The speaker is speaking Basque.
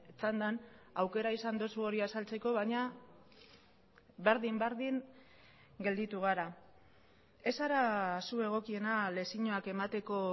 txandan aukera izan duzu hori azaltzeko baina berdin berdin gelditu gara ez zara zu egokiena lezioak emateko